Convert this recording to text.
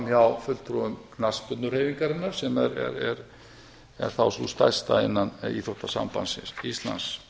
frá fulltrúum knattspyrnuhreyfingarinnar sem jafnframt er þá sú stærsta innan íþróttasambands íslands